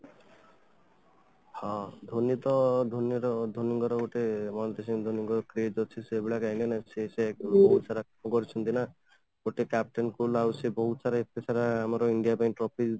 ହଁ, ଧୋନି ତ ଧୋନି ର ଧୋନି ଙ୍କର ଗୋଟେ କାହିଁକି ନା ଗୋଟେ captain cool ଆଉ ସେ ବହୁତ ସାରା ଏତେ ସାରା ଆମର india ପାଇଁ trophy ଆଣିଛନ୍ତି